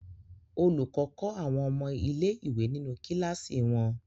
Olùkọ́ kọ́ àwọn ọmọ ilé-ìwé nínú kíláàsì wọn.